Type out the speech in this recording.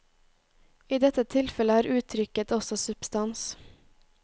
I dette tilfellet har uttrykket også substans.